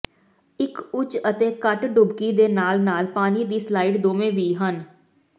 ਇੱਕ ਉੱਚ ਅਤੇ ਘੱਟ ਡੁਬਕੀ ਦੇ ਨਾਲ ਨਾਲ ਪਾਣੀ ਦੀ ਸਲਾਇਡ ਦੋਵੇਂ ਵੀ ਹਨ